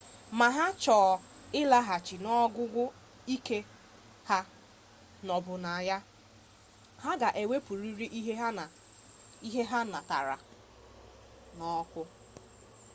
ma ha chọ ịlaghachi n'ogugo ike ha nọbụ na ya ha ga ewepụrịrị ike ha natara ọkụ